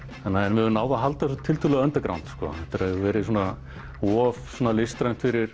við höfum náð að halda þessu tiltölulega sko þetta hefur verið of listrænt fyrir